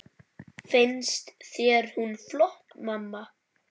Finnst þér hún flott, mamma?